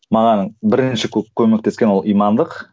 маған бірінші көп көмектескен ол имандылық